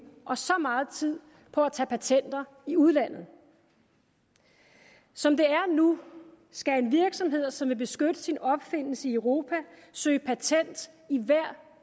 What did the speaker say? og så meget tid på at tage patenter i udlandet som det er nu skal en virksomhed som vil beskytte sin opfindelse i europa søge patent i hvert